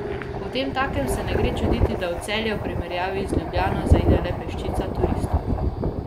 Potemtakem se ne gre čuditi, da v Celje v primerjavi z Ljubljano zaide le peščica turistov.